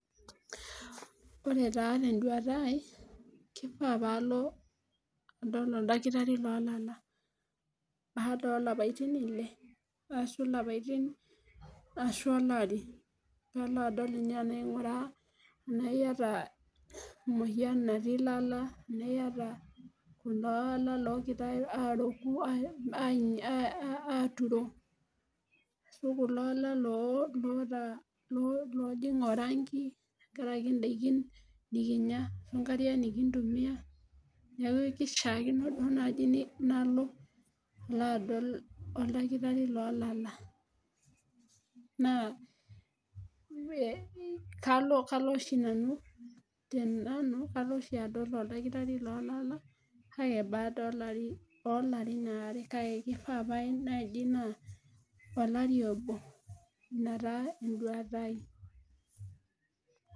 ore taa teduata aai kifaa pee alo adol oldakitari loolala, baada oolapaitin ile ashu ilapaitin, ashu olari. nalo adol aing'uraa tenaaa iyata emoyian, natii ilala, tenaa iyata ilala loogira aaroku aaturo. ashu kulo ala loojing' oranki tenakari idaikin nikinyia onkariak nikintumia. neeku kishaakino duoo naaji nalo alo adol oldakitari loolala. naa kalo oshi nanu tenanu, kalo oshi adol oldakitari loo lala. kake baada oolarin aare. kake pae naaji naa olari obo. ina taa eduata ai.